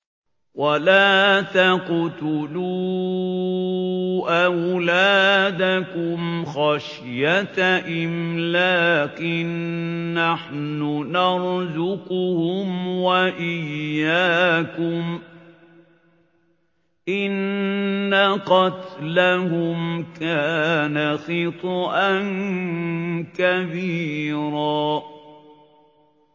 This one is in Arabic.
وَلَا تَقْتُلُوا أَوْلَادَكُمْ خَشْيَةَ إِمْلَاقٍ ۖ نَّحْنُ نَرْزُقُهُمْ وَإِيَّاكُمْ ۚ إِنَّ قَتْلَهُمْ كَانَ خِطْئًا كَبِيرًا